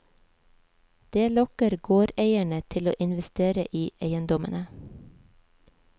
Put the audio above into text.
Det lokker gårdeiere til å investere i eiendommene.